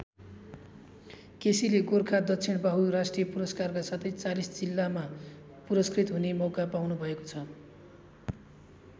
केसीले गोरखा दक्षिणबाहु राष्ट्रिय पुरस्कारका साथै ४० जिल्लामा पुरस्कृत हुने मौका पाउनुभएको छ।